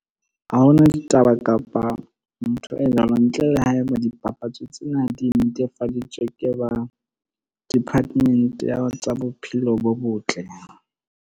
Ha hona ditaba, kapa ntho e ntle le haeba dipapatso tsena di netefaditswe ke ba department ya tsa bophelo bo botle.